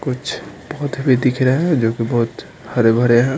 कुछ पौधे भी दिख रहे है जो कि बहुत हरे भरे है।